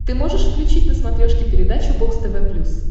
ты можешь включить на смотрешке передачу бокс тв плюс